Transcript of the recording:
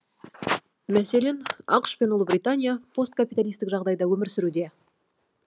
мәселен ақш пен ұлыбритания посткапиталистік жағдайда өмір сүруде